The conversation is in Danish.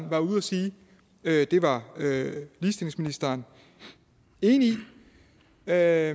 var ude at sige at det var ligestillingsministeren enig i hvad er